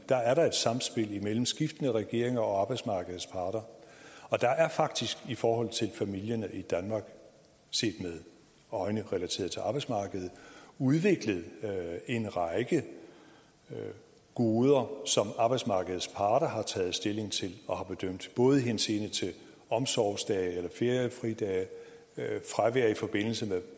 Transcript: der er et samspil mellem skiftende regeringer og arbejdsmarkedets parter og der er faktisk i forhold til familierne i danmark set med øjne relateret til arbejdsmarkedet udviklet en række goder som arbejdsmarkedets parter har taget stilling til og bedømt både i henseende til omsorgsdage eller feriefridage fravær i forbindelse med